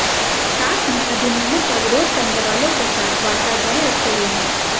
साथ में अधिनियमों का विरोध करने वालों के साथ वार्ता जारी रखे हुए हैं